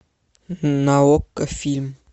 на окко фильм